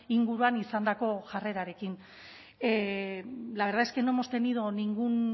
inguruan izandako jarrerarekin la verdad es que no hemos tenido ningún